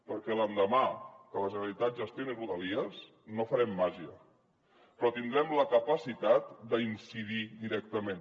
perquè l’endemà que la generalitat gestioni rodalies no farem màgia però tindrem la capacitat d’incidir hi directament